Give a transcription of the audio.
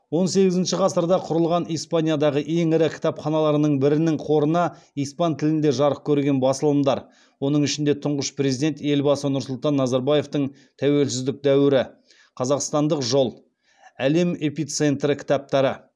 он сегізінші ғасырда құрылған испаниядағы ең ірі кітапханаларының бірінің қорына испан тілінде жарық көрген басылымдар оның ішінде тұңғыш президент елбасы нұрсұлтан назарбаевтың тәуелсіздік дәуірі қазақстандық жол әлем эпицентрі кітаптары